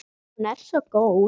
Hún er svo góð.